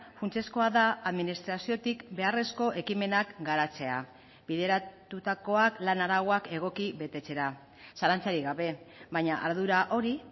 funtsezkoa da administraziotik beharrezko ekimenak garatzea bideratutakoak lan arauak egoki betetzera zalantzarik gabe baina ardura hori